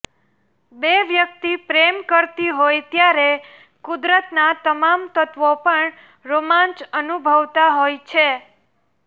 બે વ્યક્તિ પ્રેમ કરતી હોય ત્યારે કુદરતનાં તમામ તત્ત્વો પણ રોમાંચ અનુભવતાં હોય છે